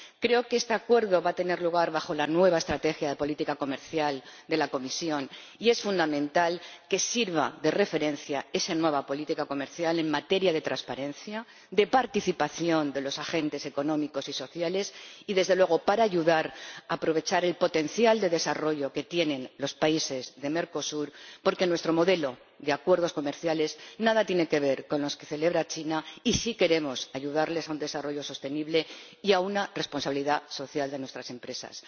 Creo que este Acuerdo va a tener lugar en el marco de la nueva estrategia de política comercial de la Comisión y es fundamental que esa nueva política comercial sirva de referencia en materia de transparencia, de participación de los agentes económicos y sociales y, desde luego, para ayudar a aprovechar el potencial de desarrollo que tienen los países de Mercosur, porque nuestro modelo de acuerdos comerciales nada tiene que ver con el de China, y sí queremos ayudar a dichos países a lograr un desarrollo sostenible y a exigir responsabilidad social a nuestras empresas.